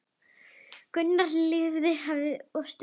Gunnar lifði allt of stutt.